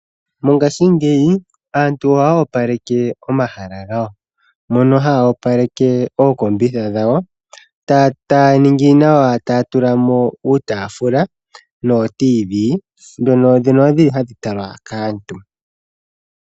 Mongashingeyi aantu ohaya opaleke omahala gawo. Ohaya opaleke ooseti dhawo taya tula mo uutaafula nootiivi ndhono hadhi talwa kaantu.